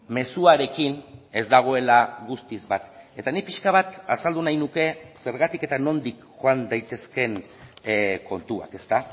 mezuarekin ez dagoela guztiz bat eta nik pixka bat azaldu nahi nuke zergatik eta nondik joan daitezken kontuak ezta